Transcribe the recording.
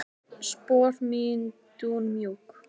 Spor mín dúnmjúk.